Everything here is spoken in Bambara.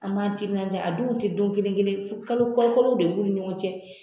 An m'an timinanja a donw te don kelenkelen ye fo kalo ka kalow de b'u ni ɲɔgɔn cɛ